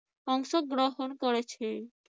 অংশগ্রহণ করেছে।